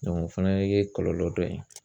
o fana ye kɔlɔlɔ dɔ ye